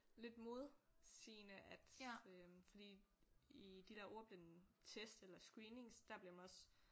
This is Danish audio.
Lidt modsigende at øh fordi i de der ordblindetest eller screenings der bliver man også